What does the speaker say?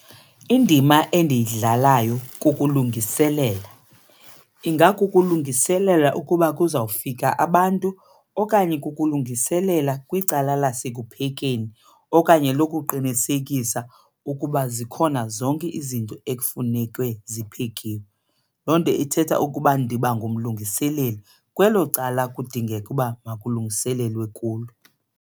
Indima endiyidlalayo kukulungiselela, ingakukulungiselela ukuba kuzawufika abantu okanye kukulungiselela kwicala lasekuhleni okanye lokuqinisekisa ukuba zikhona zonke izinto ekufuneke ziphekiwe. Loo nto ithetha ukuba ndiba ngumlungiseleli kwelo cala kudingeka ukuba makulungiselelwe kulo.